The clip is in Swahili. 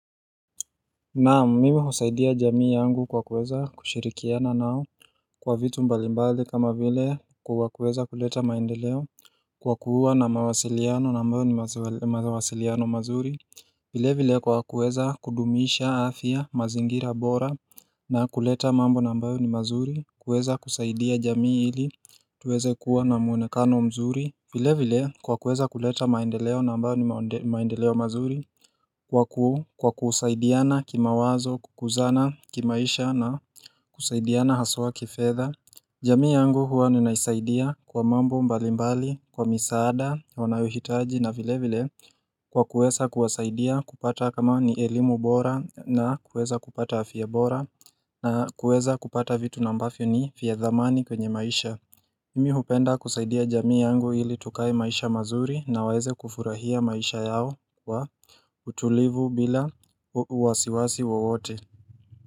Naam mimi husaidia jamii yangu kwa kuweza kushirikiana nao Kwa vitu mbalimbali kama vile kwa kuweza kuleta maendeleo Kwa kuwa na mawasiliano nambayo ni mawasiliano mazuri vile vile kwa kuweza kudumisha afya mazingira bora na kuleta mambo na ambayo ni mazuri kuweza kusaidia jamii ili tuweze kuwa na muonekano mzuri vile vile kwa kuweza kuleta maendeleo na ambayo ni maendeleo mazuri Kwa ku kwa kusaidiana kima wazo kukuzana kimaisha na kusaidiana haswa kifedha jamii yangu huwa ninaisaidia kwa mambo mbali mbali kwa misaada wanayohitaji na vile vile Kwa kuweza kuwasaidia kupata kama ni elimu bora na kuweza kupata afya bora na kuweza kupata vitu na ambafio ni fia dhamani kwenye maisha Mimi hupenda kusaidia jamii yangu ili tukae maisha mazuri na waeze kufurahia maisha yao wa utulivu bila uwasiwasi wowote.